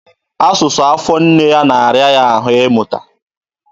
Asụsụ afọ nne ya na-ara ya ahụ ịmụta.